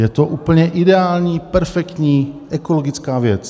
Je to úplně ideální, perfektní, ekologická věc.